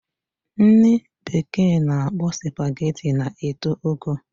Nri bekee ana akpo spaghetti na eto ogo